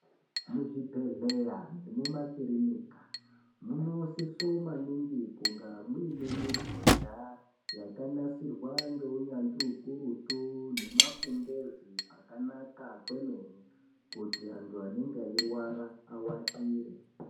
Muzvibhedhleya nekumakirinika, munosiso maningi kunga muine mibhedha, yakanasirwa ngeunyanzvi ukurutu, nemakumbezi akanaka kwemene kuti antu anenga awatire.